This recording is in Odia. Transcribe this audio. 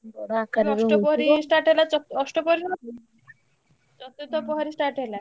ଅଷ୍ଟପ୍ରହରୀ start ହେଲା ଚ ଅଷ୍ଟପ୍ରହରୀ ଚତୁର୍ଥପ୍ରହରୀ start ହେଲା।